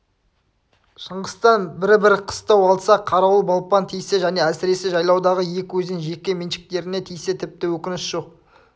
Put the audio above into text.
шыңғыстан бір-бір қыстау алса қарауыл балпаң тисе және әсіресе жайлаудағы екі өзен жеке меншіктеріне тисе тіпті өкініш жоқ